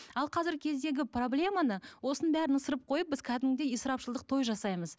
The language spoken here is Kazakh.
ал қазіргі кездегі проблеманы осының бәрін ысырып қойып біз кәдімгідей ысырапшылдық той жасаймыз